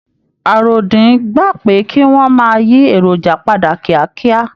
Àròdín gba pé kí wọn máa yí èròjà padà kíákíá.